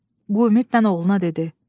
Bu ümidlə oğluna dedi.